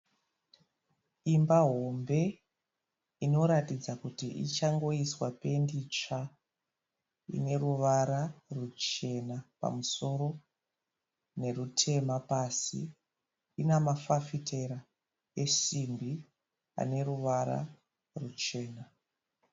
Imba hombe inoratidza kuti ichangoiswa pendi tsvaa ine ruvara ruchena pamusoro nerutema pasi. Ina mafafitera esimbi ane ruvara ruchena.